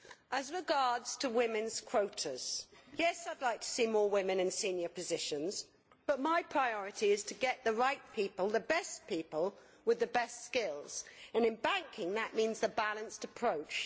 As regards women's quotas, yes, I would like to see more women in senior positions, but my priority is to get the right people, the best people with the best skills, and in banking that means the balanced approach.